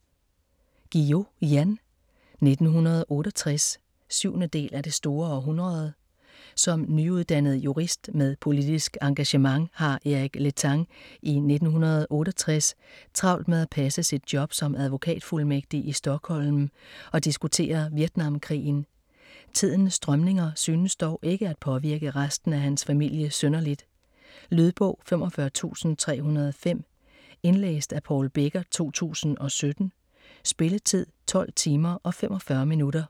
Guillou, Jan: 1968 7. del af Det store århundrede. Som nyuddannet jurist med politisk engagement har Eric Letang i 1968 travlt med at passe sit job som advokatfuldmægtig i Stockholm og diskutere Vietnamkrigen. Tidens strømninger synes dog ikke at påvirke resten af hans familie synderligt. Lydbog 45305 Indlæst af Paul Becker, 2017. Spilletid: 12 timer, 45 minutter.